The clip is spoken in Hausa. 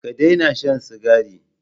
Ka daina shan Sigari